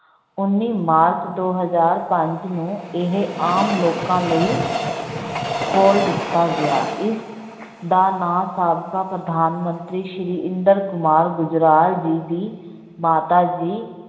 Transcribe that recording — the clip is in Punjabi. ਉੱਨੀ ਮਾਰਚ ਦੋ ਹਜਾਰ ਪੰਜ ਨੂੰ ਇਹ ਆਮ ਲੋਕਾਂ ਲਈ ਖੋਲ ਦਿੱਤਾ ਗਿਆ, ਇਸ ਦਾ ਨਾਂ ਸਾਬਕਾ ਪ੍ਰਧਾਨ ਮੰਤਰੀ ਸ੍ਰੀ ਇੰਦਰ ਕੁਮਾਰ ਗੁਜਰਾਲ ਜੀ ਦੀ ਮਾਤਾ ਜੀ